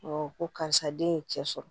ko karisa den ye cɛ sɔrɔ